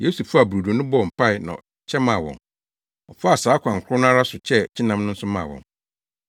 Yesu faa brodo no bɔɔ mpae na ɔkyɛ maa wɔn. Ɔfaa saa kwan koro no ara so kyɛɛ kyenam no nso maa wɔn.